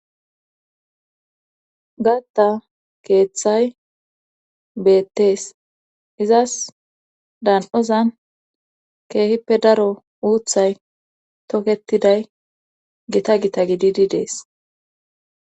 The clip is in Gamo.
gatta keeththay beettees izas daan7ozan keehippe daro uuthay toketiday gita gita gididi dees